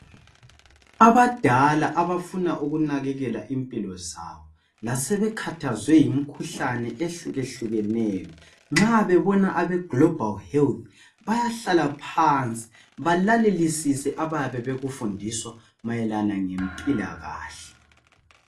Abadala abafuna ukunakekela impilo zabo lasebekhathazwe yimikhuhlane ehlukehlukeneyo nxa bebona abagilobali helithi bayahlala. phansi balalele abayabe bekufundiswa mayelana ngempilakahle.